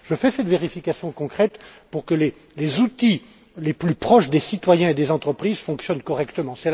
Je fais donc cette vérification concrète pour que les outils les plus proches des citoyens et des entreprises fonctionnent correctement.